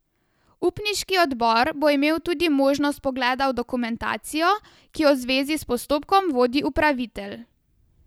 Upniški odbor bo imel tudi možnost vpogleda v dokumentacijo, ki jo v zvezi s postopkom vodi upravitelj.